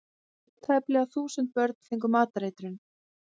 Tæplega þúsund börn fengu matareitrun